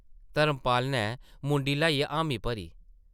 धर्मपाल नै मुंडी ल्हाइयै हामी भरी ।